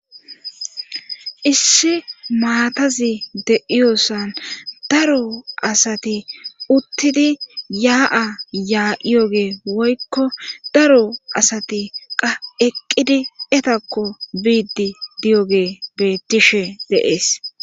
issi maatazi deiyosan daro asati uttidi yaa7a yaa7iyogee woykko daro asati qaeqqidi etakko biiddi diyoge beettishe deees